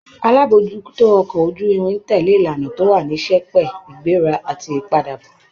Alábòójútó ọkọ̀ ojú-irin tẹ̀lé ìlànà tó wà ní sẹpẹ́, ìgbéra àti ìpadàbọ̀